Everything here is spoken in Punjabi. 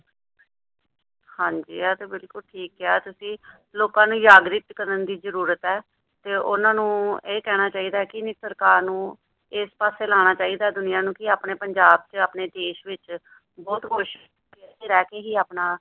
ਹਾਂ ਜੀ ਇਹ ਤੇ ਬਿੱਲਕੁੱਲ ਠੀਕ ਕਿਹਾ ਤੁਸੀ ਲੋਕਾਂ ਨੂੰ ਜਾਗਰਿਕ ਕਰਨ ਦੀ ਜ਼ਰੂਰਤ ਹੈ ਤੇ ਉਹਨਾਂ ਨੂੰ ਇਹ ਕਹਿਣਾ ਚਾਹੀਦਾ ਕਿ ਸਰਕਾਰ ਨੂੰ ਇਸ ਪਾਸੇ ਲਾਣਾ ਚਾਹੀਦਾ ਦੁਨੀਆ ਨੂੰ ਕਿ ਆਪਣੇ ਪੰਜਾਬ ਚ ਆਪਣੇ ਦੇਸ਼ ਵਿੱਚ ਬਹੁਤ ਕੁੱਝ ਏਥੇ ਰਹਿ ਕੇ ਹੀ ਆਪਣਾ